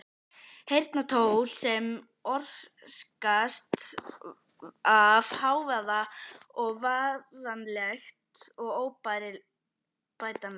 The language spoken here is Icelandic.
Heyrnartjón sem orsakast af hávaða er varanlegt og óbætanlegt.